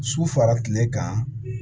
Su fara kile kan